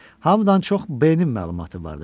Hamıdan çox B-nin məlumatı vardı.